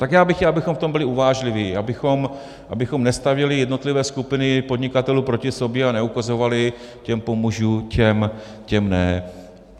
Tak já bych chtěl, abychom v tom byli uvážliví, abychom nestavěli jednotlivé skupiny podnikatelů proti sobě a neukazovali, těm pomůžu, těm ne.